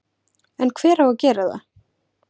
En hver á að gera það?